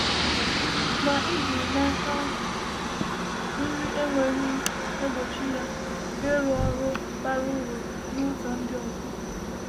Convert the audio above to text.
Ma ịdị n’aka nri enweghị egbochi ya ịrụ ọrụ bara uru n’ụzọ ndị ọzọ.